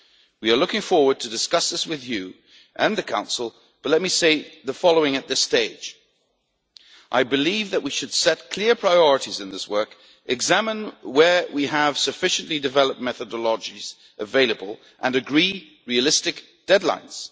future. We are looking forward to discussing these with you and the Council, but let me say the following at this stage I believe that we should set clear priorities in this work, examine where we have sufficiently developed methodologies available, and agree realistic deadlines.